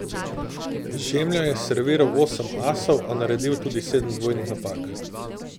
Žemlja je serviral osem asov, a naredil tudi sedem dvojnih napak.